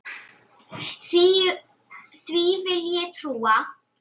Því vil ég trúa!